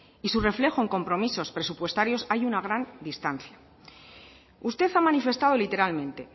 y su reflejo en compromisos presupuestarios hay una gran distancia usted ha manifestado literalmente